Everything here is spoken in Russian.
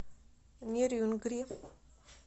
нерюнгри